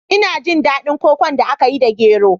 Ina jin daɗin kokon da aka yi da gero